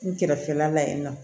N kɛrɛfɛla la yen nɔ